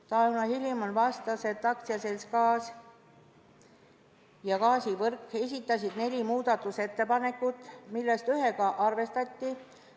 Tauno Hilimon vastas, et AS Eesti Gaas ja AS Gaasivõrk esitasid neli muudatusettepanekut, millest ühte arvestati.